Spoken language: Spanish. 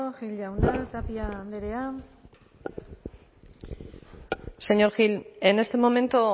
gil jauna tapia andrea señor gil en este momento